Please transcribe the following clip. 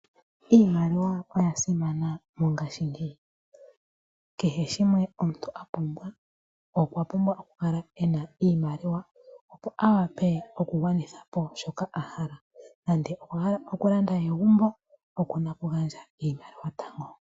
Iimaliwa oya simana mongashingeyi. Kehe shimwe omuntu a pumbwa, okwa pumbwa oku kala ena iimaliwa opo a wape okugwanitha po shoka a hala, nande okwa hala oku landa egumbo okuna ku gandja iimaliwa tango.